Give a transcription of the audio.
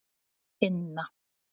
Inna